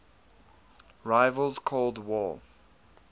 rival's cold war